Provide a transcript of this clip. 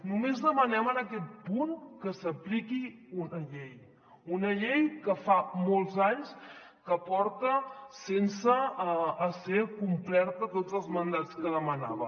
només demanem en aquest punt que s’apliqui una llei una llei que fa molts anys que porta sense ser complerta en tots els mandats que demanava